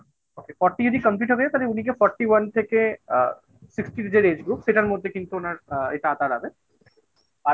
okay Forty যদি complete হয়ে যায় তাহলে উনিকে Forty one থেকে আ Sixty age group সেটার মধ্যে কিন্তু ওনার আ এটা আঁতাত হবে আর।